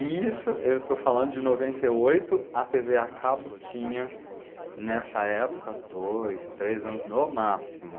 E isso, eu estou falando de noventa e oito, a tê vê a cabo tinha, nessa época, dois, três anos no máximo.